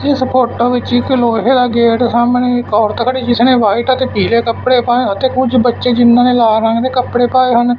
ਇਸ ਫੋਟੋਂ ਵਿੱਚ ਇੱਕ ਲੋਹੇ ਦਾ ਗੇਟ ਐ ਸਾਹਮਣੇ ਇੱਕ ਔਰਤ ਖੜੀ ਜਿਸਨੇਂ ਵਾਈਟ ਅਤੇ ਪੀਲੇ ਕੱਪੜੇ ਪਾਏ ਅਤੇ ਕੁਝ ਬੱਚੇ ਜਿੰਨ੍ਹਾਂ ਨੇਂ ਲਾਲ ਰੰਗ ਦੇ ਕੱਪੜੇ ਪਾਏ ਹੋਏ ਨੇਂ--